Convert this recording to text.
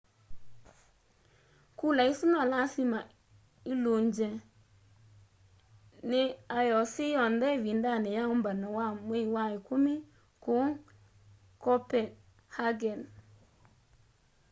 kula isu no lasima ilungwe ni ioc yonthe ivindani ya umbano wa mwei wa ikumi kuu copenhagen